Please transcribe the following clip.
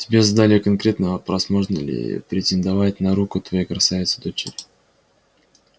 тебе задали конкретный вопрос можно ли претендовать на руку твоей красавицы-дочери